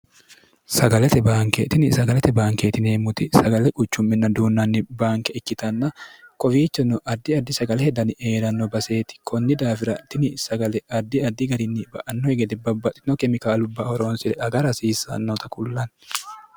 sagalete baanke tini sagalete baankeetinieemmuti sagale quchumminna duunnanni baanke ikkitanna kowiichinno addi addi sagale hedani eee'ranno baseeti kunni daafira dini sagale addi addi garinni ba'annohigede babbaxino kemikaalubba horoonsire aga hasiissannota kullanni